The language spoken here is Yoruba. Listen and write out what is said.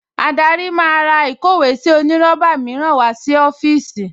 Adarí máa ra ìkówèésí onírọ́bà mìíràn wá sí ọ́fíìsì